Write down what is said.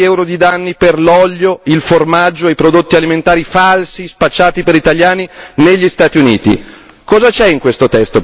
abbiamo tre miliardi di euro di danni per l'olio, il formaggio e i prodotti alimentari falsi spacciati per italiani negli Stati Uniti.